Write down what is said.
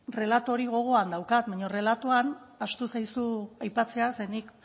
relato hori gogoan daukat baino relatoan ahaztu zaizu aipatzea ze nik